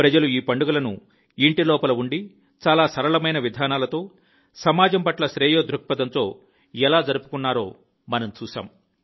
ప్రజలు ఈ పండుగలను ఇంటి లోపల ఉండి చాలా సరళ విధానాలతో సమాజం పట్ల శ్రేయో దృక్పథంతో ఎలా జరుపుకుంటారో చూశాము